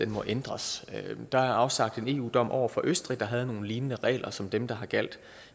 må ændres der er afsagt en eu dom over for østrig der havde nogle lignende regler som dem der har gjaldt